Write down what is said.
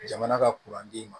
Jamana ka ma